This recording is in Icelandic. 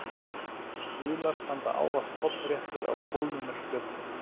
Stuðlar standa ávallt hornréttir á kólnunarflötinn.